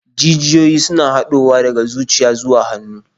Jijiyoyi suna haɗowa daga zuciya zuwa hannu.